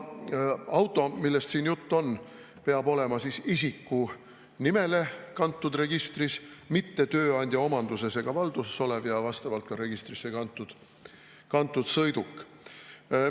Auto, millest siin juttu on, peab olema registris isiku nimele kantud, mitte tööandja omanduses ega valduses olev, ja vastavalt sõiduk ka registrisse kantud.